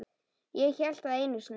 Ég hélt það einu sinni.